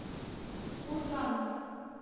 курган